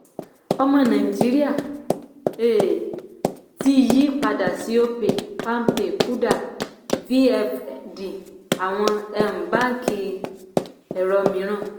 ọmọ nàìjíríà um ti yí padà sí opay palmpay kuda vfd àwọn um báńkì ẹ̀rọ mìíràn.